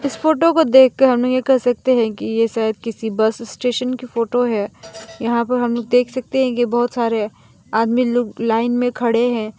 इस फोटो को देख कर हम यह कह सकते हैं कि ये शायद किसी बस स्टेशन की फोटो है यहां पर हम लोग देख सकते हैं कि बहुत सारे आदमी लोग लाइन में खड़े हैं।